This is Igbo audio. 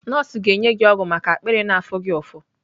Nọọsụ ga-enye gị ọgwụ maka akpịrị na-afụ gị ụfụ.